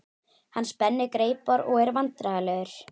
Hann spennir greipar og er vandræðalegur.